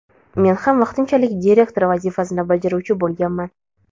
Men ham vaqtinchalik direktor vazifasini bajaruvchi bo‘lganman.